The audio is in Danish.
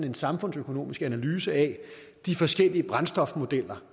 en samfundsøkonomisk analyse af de forskellige brændstofmodeller